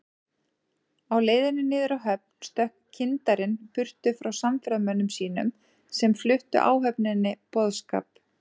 Á leiðinni niður að höfn stökk kyndarinn burtu frá samferðamönnum sínum, sem fluttu áhöfninni boðskap